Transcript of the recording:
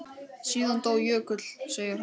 Síðan dó Jökull, segir sagan.